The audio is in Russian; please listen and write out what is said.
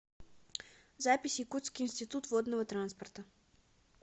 запись якутский институт водного транспорта